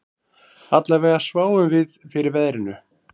Allavega sváfum við fyrir veðrinu